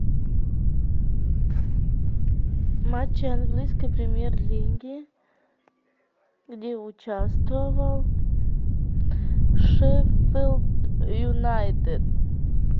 матчи английской премьер лиги где участвовал шеффилд юнайтед